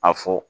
A fɔ